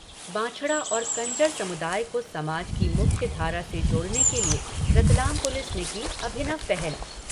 बांछड़ा और कंजर समुदाय को समाज की मुख्य धारा से जोड़ने के लिए रतलाम पुलिस ने की अभिनव पहल।